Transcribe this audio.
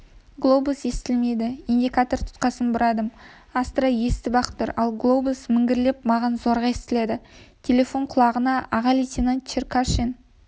глобус естілмейді индикатор тұтқасын бұрадым астра естіп-ақ тұр ал глобус міңгірлеп маған зорға естіледі телефон құлағына аға лейтенант черкашин